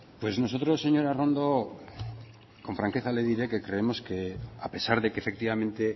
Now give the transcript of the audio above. pues nosotros señora arrondo con franqueza le diré que creemos que a pesar de que efectivamente